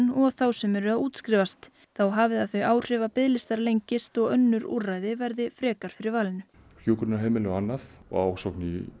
og þá sem eru að útskrifast þá hafi það þau áhrif að biðlistar lengist og önnur úrræði verði frekar fyrir valinu hjúkrunarheimili og annað og ásókn í